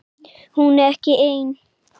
Hún er ekki ein.